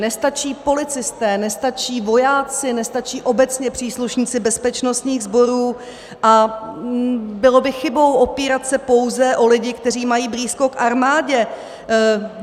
Nestačí policisté, nestačí vojáci, nestačí obecně příslušníci bezpečnostních sborů a bylo by chybou opírat se pouze o lidi, kteří mají blízko k armádě.